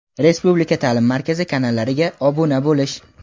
Respublika ta’lim markazi kanallariga obuna bo‘lish:.